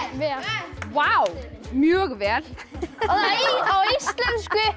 vel vá mjög vel á íslensku